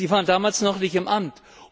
Sie waren damals noch nicht im Amt.